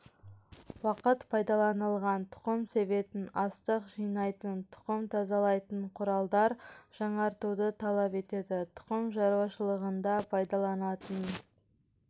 уақыт пайдаланылған тұқым себетін астық жинайтын тұқым тазалайтын құралдар жаңартуды талап етеді тұқым шаруашылығында пайдаланалатын